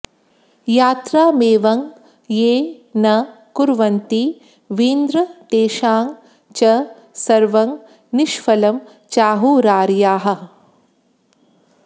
यात्रामेवं ये न कुर्वन्ति वीन्द्र तेषां च सर्वं निष्फलं चाहुरार्याः